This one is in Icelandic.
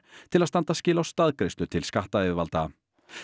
til að standa skil á staðgreiðslu til skattayfirvalda